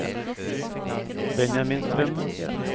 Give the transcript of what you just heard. Benjamin Strømme